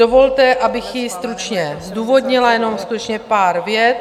Dovolte, abych ji stručně zdůvodnila, jenom skutečně pár vět.